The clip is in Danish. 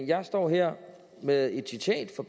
jeg står her med et citat fra